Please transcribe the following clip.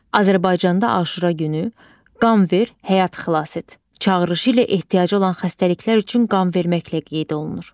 Azərbaycanda Aşura günü "Qan ver, həyat xilas et" çağırışı ilə ehtiyacı olan xəstəliklər üçün qan verməklə qeyd olunur.